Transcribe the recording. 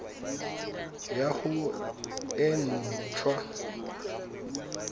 ya gago e nt hwa